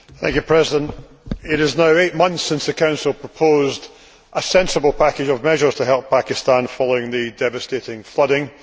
Mr President, it is now eight months since the Council proposed a sensible package of measures to help Pakistan following the devastating flooding.